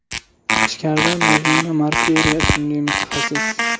Ichkarida Mazmuna Markayeva ismli mutaxassis.